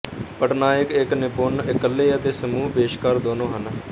ਪੱਟਨਾਇਕ ਇੱਕ ਨਿਪੁੰਨ ਇਕੱਲੇ ਅਤੇ ਸਮੂਹ ਪੇਸ਼ਕਾਰ ਦੋਨੋਂ ਹਨ